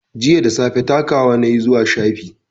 Jiya da safe takawa na yi zuwa shafi